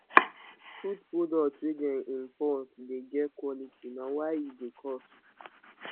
food products wey dem import dey get quality na why e dey cost